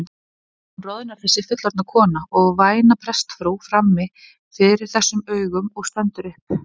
Hún roðnar þessi fullorðna kona og væna prestsfrú frammi fyrir þessum augum og stendur upp.